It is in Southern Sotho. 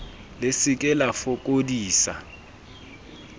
le se ke la fokodisa